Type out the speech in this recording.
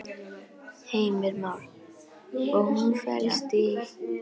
Heimir Már: Og hún felst í?